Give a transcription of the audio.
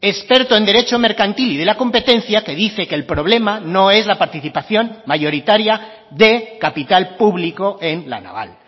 experto en derecho mercantil y de la competencia que dice que el problema no es la participación mayoritaria de capital público en la naval